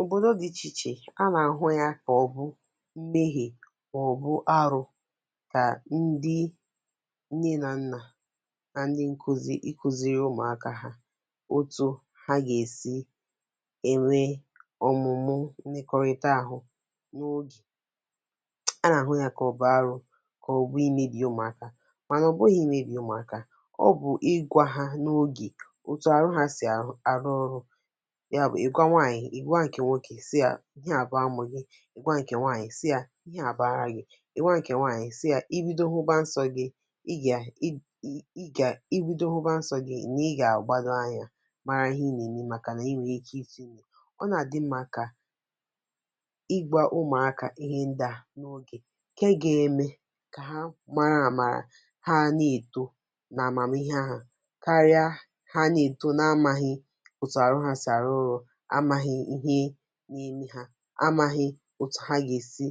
Obòdo dị ichè ichè, a nà-àhụ ya kà ọ̀ bụ meghie ma ọ̀ bụ arụ kà ndị nne nȧ nnȧ na ndị nkụzi, ikụzi̇ri̇ ụmụ̀akȧ hȧ otu̇ ha gà-èsi enwe ọ̀mụ̀mụ mmekọrịta àhụ n’ogè, a nà-àhụ ya kà ọ bụ arụ̇ kà ọ̀ bụ imėbì ụmụ̀akȧ mà nà ọ̀ bụghị̇ imėbì umùakȧ, ọ bụ̀ ịgwȧ hȧ n’ogè otu arụ ha si arụ arụ ọrụ nya bụ ịgwa nwanyị, ịgwa nke nwoke. Ị gwa nkè nwokè sị yà ihe à bụ̀ amụ̀ gị, ị gwa nkè nwaanyị̀ sị yà ihe à bụ̀ ara gị̇. Ị gwa nkè nwaanyị̀ sị yà ibido hụbȧ nsọ̇ gị̇, ị gà [i i] gà ibido hụbȧ nsọ̇ gị̇ nà i gà-àgbado anyȧ mara ihe ì na-eme màkà nà i nwè ike ịtụ ime. Ọ nà-àdị mmȧ kà ịgwȧ ụmụ̀akȧ ihe ndị à n’ogè ke ga-eme kà ha mara àmàrà ha nè-èto nà àmàmì ihe àhụ, karịa ha nè-èto n’amaghị otu arụ ha si arụ rụ, amȧghị̇ ihe na-eme ha, amàghị̇ otu ha gà-èsi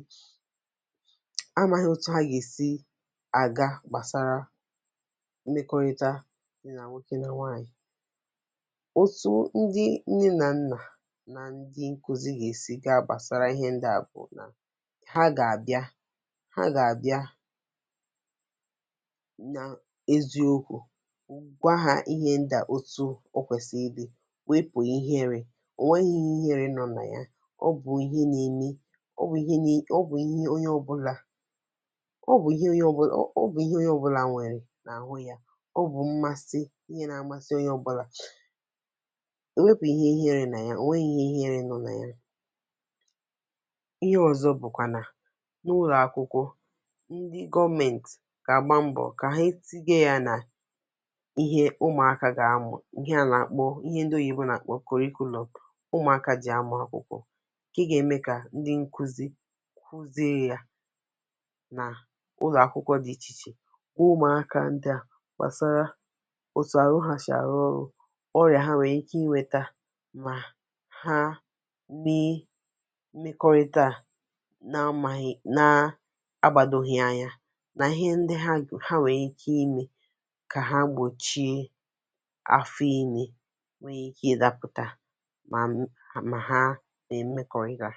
amaghị otu ha ga-esi àga gbàsara mmekọrịta dị nà nwokė nà nwaànyị̀. Otu ndị nne na nnà nà ndị nkụzi gà-èsi ga-abàsara ihe ndị à bù nà ha gà-àbịa ha gà-àbịa nà eziokwu̇, gwa hȧ ihe ndị à otu o kwèsịrị ịdị wepụ ihere, o nweghị ihe ihere ọbụla nọ na ya. Ọ bụ̀ ihe na-eme, ọ bụ ihe nine, ọ bụ̀ ihe nilì ọ bụ̀ ihe onye ọbụ̇là ọ bụ̀ ihe onye ọbụ̇là nwèrè n’àhụ yȧ, ọ bụ̀ mmasị ihe nà-amasị onye ọbụ̇là wepù ihe ihere na ya onweghị ihe i iherė nọ̀ ya. Ihe ọ̀zọ bụ̀kwà nà n’ụlọ̀ akwụkwọ ndị gọọmentì gà àgba mbọ̀ kà he etinye yȧ nà ihe ụmụ̀akȧ gà-amụ̀ ihe a nà-àkpọ ihe ndị oyìbo nà-àkpọ kòrikụlọm ụmụaka ji amụ akwụkwọ ke gà-ème kà ndị nkụzi kụzie yȧ na ụlọ̀ akwụkwọ dị̇ ichè iche. Gwa ụmụ̇akȧ ndị à gbàsara òtù àrụ hà shi arụ ọrụ̇, ọrị̀à ha nwèrè ike inwėtȧ mà ha mee mmekọrịta à na amaghị na agbȧdȯghị̇ anya nà ihe ndị ha ha nwèrè ike imė kà ha gbòchie afọ ime nwere ike ịdapụta ma ha na-emekọrịta.